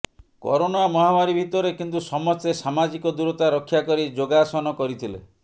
corona ମହାମାରୀ ଭିତରେ କିନ୍ତୁ ସମସ୍ତେ ସାମାଜିକ ଦୂରତା ରକ୍ଷା କରି ଯୋଗାସନ କରିଥିଲେ